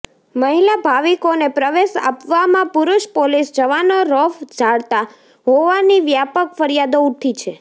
મહિલા ભાવિકોને પ્રવેશ આપવામાં પુરુષ પોલીસ જવાનો રોફ ઝાડતા હોવાની વ્યાપક ફરિયાદો ઉઠી છે